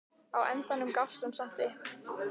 Á endanum gafst hún samt upp.